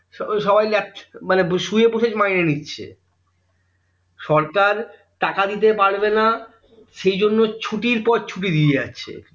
সবাই লেচ মানে শুয়ে বসে মাইনে নিচ্ছে সরকার টাকা দিতে পারবে না সেইজন্য ছুটির পর ছুটি দিয়ে যাচ্ছে